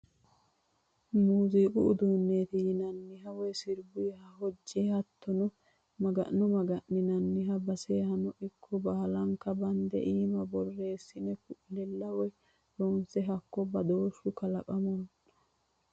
Muziiqu uduuneti yinanniha woyi sirbuha hojiha hattono Maga'no maga'ninani basehano ikko baallanka bande iima borreessine ku'lella woyi loonsa hakko badooshu kalaqamonna.